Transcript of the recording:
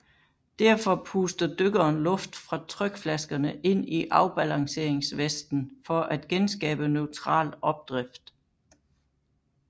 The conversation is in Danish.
Derfor puster dykkeren luft fra trykflaskerne ind i afbalanceringsvesten for at genskabe neutral opdrift